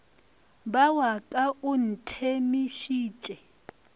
ba wa ka o nthemišitše